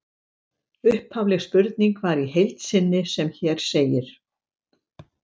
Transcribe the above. Upphafleg spurning var í heild sem hér segir: